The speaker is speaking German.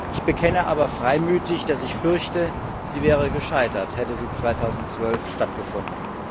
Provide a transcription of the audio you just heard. ich bekenne aber freimütig, dass ich fürchte, sie wäre gescheitert, hätte sie 2012 stattgefunden.